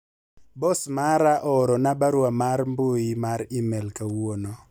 bos mara oorona barua mar mbui mar email kawuono